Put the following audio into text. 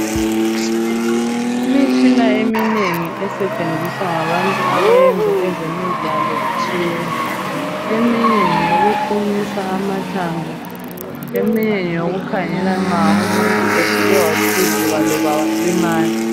Imitshina eminengi esetshenziswa ngabantu abayenza ezemidlalo itshiyene. Eminye ngeyokuqinisa amathambo, eminye ngeyokukhangela nxa umuntu esuke waqhuzuka loba walimala.